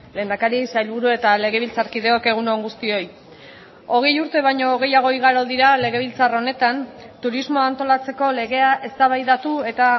lehendakari sailburu eta legebiltzarkideok egunon guztioi hogei urte baino gehiago igaro dira legebiltzar honetan turismoa antolatzeko legea eztabaidatu eta